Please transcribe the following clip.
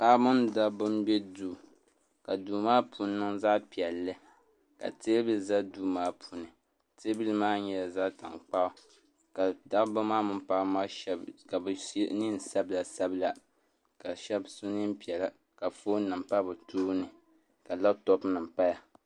Paɣaba mini dabba n bɛ duu ka duu maa puuni niŋ zaɣ piɛlli ka teebuli ʒɛ duu maa puuni teebuli maa nyɛla zaɣ tankpaɣu ka dabba maa mini paɣaba maa shab ka bi so neen sabila sabila ka shab so neen piɛla ka foon nim pa bi tooni ka labtop nim paya